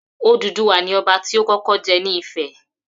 Odùduwà ni Ọba ti ó kọ́kọ́ jẹ ni Ifẹ̀.